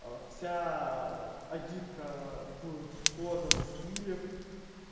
а вся агитка в схожем стиле